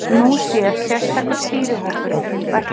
Nú sér sérstakur stýrihópur um verkefnið.